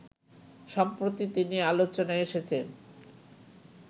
সম্প্রতি তিনি আলোচনায় এসেছেন